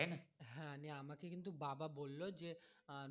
হ্যাঁ আমাকে কিন্তু বাবা বললো যে আহ